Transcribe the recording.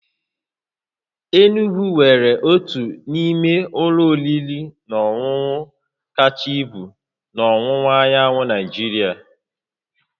Enugwu nwere otu n'ime ụlọ oriri na ọṅụṅụ kacha ibu na ọwụwa anyanwụ Nigeria